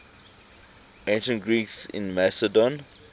ancient greeks in macedon